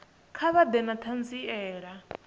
kha vha ḓe na ṱhanziela